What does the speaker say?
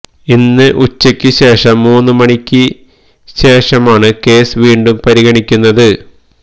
ഇന്ന് ഉച്ചയ്ക്ക് ശേഷം മൂന്ന് മണിക്ക് ശേഷമാണ് കേസ് വീണ്ടും പരിഗണിക്കുന്നത്